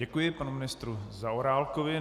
Děkuji panu ministru Zaorálkovi.